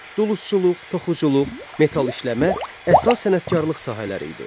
Dulusçuluq, toxuculuq, metal işləmə əsas sənətkarlıq sahələri idi.